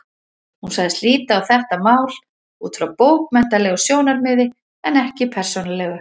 Hún sagðist líta á þetta mál út frá bókmenntalegu sjónarmiði en ekki persónulegu.